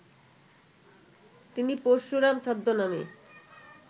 তিনি পরশুরাম ছদ্মনামে